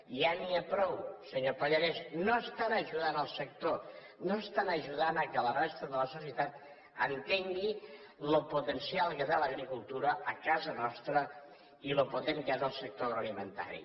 ja n’hi ha prou senyor pallarès no estan ajudant el sector no estan ajudant que la resta de la societat entengui lo potencial que té l’agricultura a casa nostra i lo potent que és el sector agroalimentari